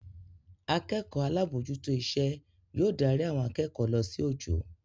Akẹ́kọ̀ọ́ alábòójútó iṣẹ́ yóò darí àwọn akẹ́kọ̀ọ́ lọ sí ojo